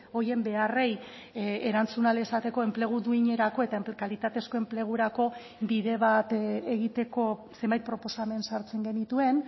horien beharrei erantzun ahal izateko enplegu duinerako eta kalitatezko enplegurako bide bat egiteko zenbait proposamen sartzen genituen